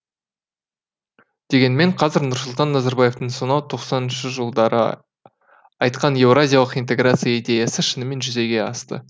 дегенмен қазір нұрсұлтан назарбаевтың сонау тоқсаныншы жылдары айтқан еуразиялық интеграция идеясы шынымен жүзеге асты